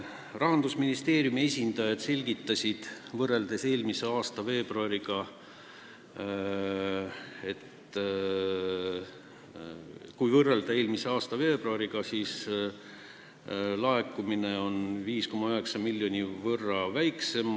Rahandusministeeriumi esindajad selgitasid, et kui võrrelda eelmise aasta veebruariga, siis laekumine on 5,9 miljoni euro võrra väiksem.